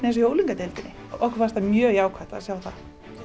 í unglingadeildinni okkur fannst það mjög jákvætt að sjá það